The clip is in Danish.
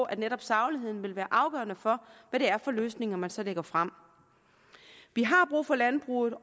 at netop sagligheden vil være afgørende for hvad det er for løsninger man så lægger frem vi har brug for landbruget og